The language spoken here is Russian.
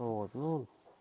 вот ну